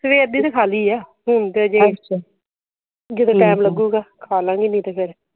ਸਵੇਰ ਦੀ ਤੇ ਖਾ ਲਈ ਹੈ ਹੁਣ ਤੇ ਜੇ ਟਾਇਮ ਲਾਗੂਗਾ ਖਾ ਲੈਣਗੇ ਫਿਰ